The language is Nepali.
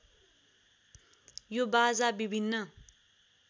यो बाजा विभिन्न